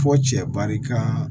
Fɔ cɛ barika